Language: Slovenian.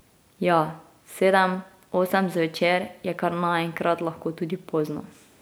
Ja, sedem, osem zvečer je kar naenkrat lahko tudi pozno.